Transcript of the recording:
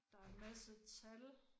Der er en masse tal